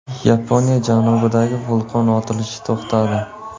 Yaponiya janubidagi vulqon otilishi to‘xtadi.